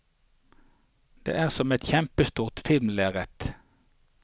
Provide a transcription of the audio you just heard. Det er som et kjempestort filmlerret.